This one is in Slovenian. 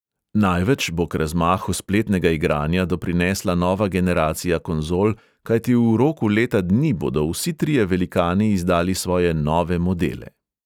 Največ bo k razmahu spletnega igranja doprinesla nova generacija konzol, kajti v roku leta dni bodo vsi trije velikani izdali svoje nove modele.